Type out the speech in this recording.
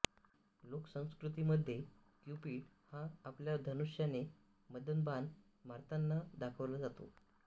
लोकसंस्कृतीमध्ये Cupid हा आपल्या धनुष्याने मदनबाण मारतांना दाखवला जातो